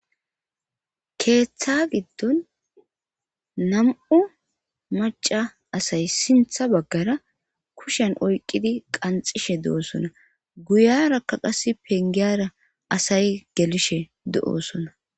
keeththa giddon nam7u maca asay sintha baggara kushen oyqidi qanxishe doosona guyarakka qas pengiyara asay gelishe do7osona